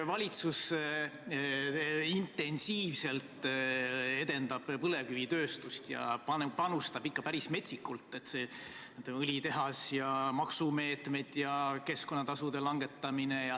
Valitsus intensiivselt edendab põlevkivitööstust ja panustab sinna ikka päris metsikult: õlitehas, maksumeetmed ja keskkonnatasude langetamine.